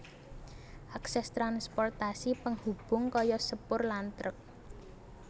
Akses transportasi penghubung kaya sepur lan truk